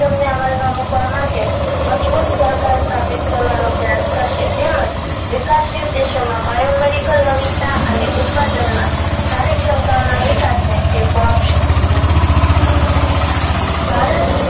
મૂકવા માટે મજબૂત સરકાર સ્થાપિત કરવાનો પ્રયાસ કરશે તેમજ વિકાસશીલ દેશો માં bio medical નવીનતા અને ઉત્પાદન માં ભારી ક્ષમતાઓના વિકાસને ટેકો આપશે ભારત